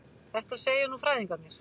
Þetta segja nú fræðingarnir.